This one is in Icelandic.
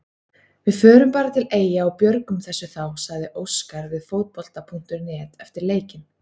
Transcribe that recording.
Við förum bara til Eyja og björgum þessu þá, sagði Óskar við Fótbolta.net eftir leikinn.